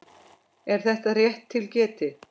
Er það rétt til getið?